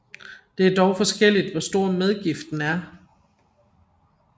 Det er dog forskelligt hvor stor medgiften er